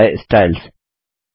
apply styles